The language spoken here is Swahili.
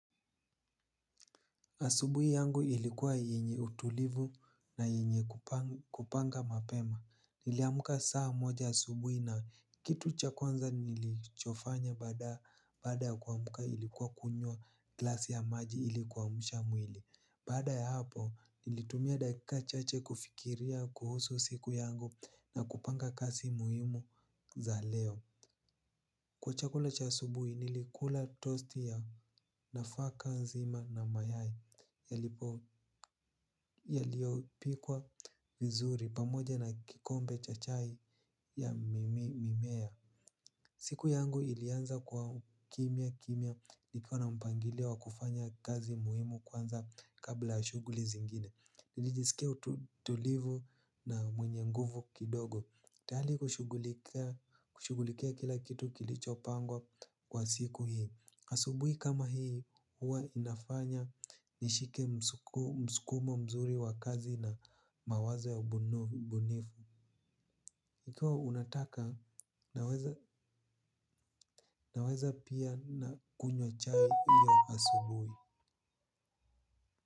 Asubuhi yangu ilikuwa yenye utulivu na yenye kupanga mapema. Niliamka saa moja asubuhi na kitu cha kwanza nilichofanya baada ya kuamka ilikuwa kunywa glasi ya maji ili kuamsha mwili. Baada ya hapo nilitumia dakika chache kufikiria kuhusu siku yangu na kupanga kazi muhimu za leo. Kwa chakula cha asubuhi nilikula tosti ya nafaka nzima na mayai. Yalipo yaliyopikwa vizuri pamoja na kikombe cha chai ya mimea. Siku yangu ilianza kwa kimya kimya nikiwa na mpangilio wa kufanya kazi muhimu kwanza kabla ya shughuli zingine. Nilijisikia utulivu na mwenye nguvu kidogo tayari kushughulikia kila kitu kilichopangwa kwa siku hio asubuhi kama hii huwa inafanya nishike msukumo mzuri wa kazi na mawazo ya ubunifu. Ikiwa unataka unaweza pia na kunywa chai hiyo asubuhi.